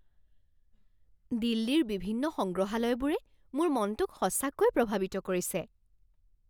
দিল্লীৰ বিভিন্ন সংগ্ৰহালয়বোৰে মোৰ মনটোক সঁচাকৈয়ে প্ৰভাৱিত কৰিছে।